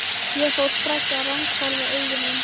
Ég fór strax að ranghvolfa augunum.